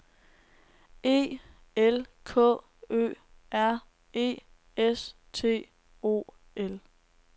E L K Ø R E S T O L